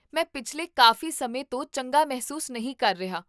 ਮੈਂ ਪਿਛਲੇ ਕਾਫ਼ੀ ਸਮੇਂ ਤੋਂ ਚੰਗਾ ਮਹਿਸੂਸ ਨਹੀਂ ਕਰ ਰਿਹਾ